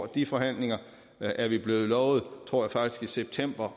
de forhandlinger er vi blevet lovet tror jeg faktisk i september